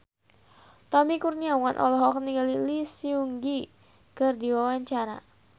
Tommy Kurniawan olohok ningali Lee Seung Gi keur diwawancara